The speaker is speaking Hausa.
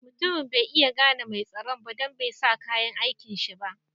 Mutumin bai iya gane mai tsaron ba don bai sa kayan aikin shi ba.